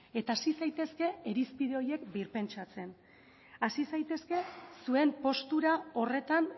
eta hasi zaitezke irizpide horiek birpentsatzen hasi zaitezke zuen postura horretan